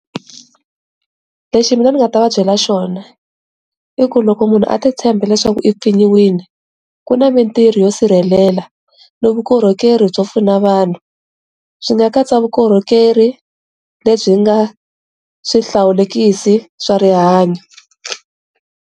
Lexi mina ni nga ta vabyela xona i ku loko munhu a ti tshemba leswaku i pfinyiwile ku na mintirho yo sirhelela no vukorhokeri byo pfuna vanhu swi nga katsa vukorhokeri lebyi nga swihlawulekisi swa rihanyo.